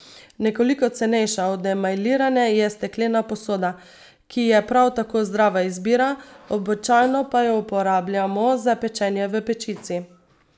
Nekoliko cenejša od emajlirane je steklena posoda, ki je prav tako zdrava izbira, običajno pa jo uporabljamo za pečenje v pečici.